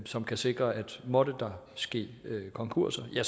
som kan sikre at måtte der ske konkurser er